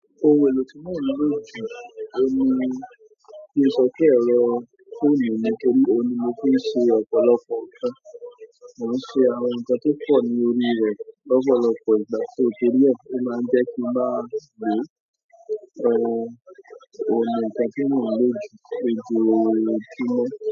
Oun èlò tí mo ń lò jù. Oun ni mo lè sọ pé ẹ̀rọ fóònù mi nítorí oun ni mo fi ń ṣe ọ̀pọ̀lọpọ̀ nǹkan. Mo ń ṣe àwọn nǹkan tó pọ̀ ní orí rẹ lọpọlọpọ ìgbà. Sọ torí ẹ ó máa ń jẹ kí n máa lò. Oun ni nǹkan tí mo ń lò jù lojoojumọ.